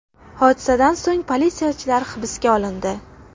Hodisadan so‘ng politsiyachilar hibsga olindi.